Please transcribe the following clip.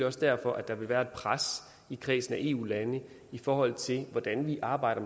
også derfor at der vil være et pres i kredsen af eu lande i forhold til hvordan vi arbejder